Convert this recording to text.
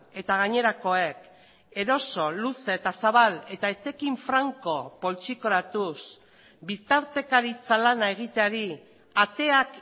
eta gainerakoek eroso luze eta zabal eta etekin franko poltsikoratuz bitartekaritza lana egiteari ateak